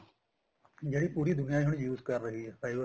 ਜਿਹੜੀ ਪੂਰੀ ਦੁਨੀਆਂ ਹੁਣ use ਕਰ ਰਹੀ ਏ fiber